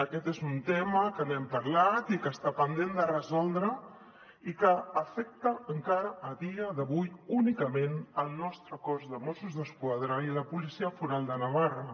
aquest és un tema que n’hem parlat i que està pendent de resoldre i que afecta encara a dia d’avui únicament el nostre cos de mossos d’esquadra i la policia foral de navarra